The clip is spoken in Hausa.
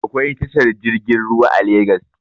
Akwai tashar jirgin ruwa a legas